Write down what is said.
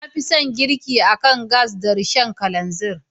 Na fi son girki akan gas da Rishon kalanzir.